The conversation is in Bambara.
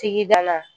Tigida la